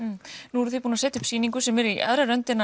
nú eruð þið búin að setja upp sýningu sem er í aðra röndina